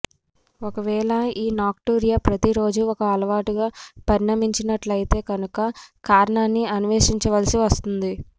ఒకవేళ ఈ నాక్టూరియా ప్రతీరోజూ ఒక అలవాటుగా పరిణమించినట్లయితే కనుక కారణాన్ని అన్వేషించవలసి వస్తుంది